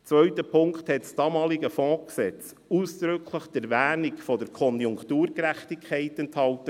Zweiter Punkt: Das damalige Fondsgesetz enthielt ausdrücklich die Erwähnung der «Konjunkturgerechtigkeit».